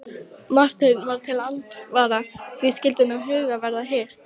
Marteinn varð til andsvara: Því skyldi sú huggun verða hirt?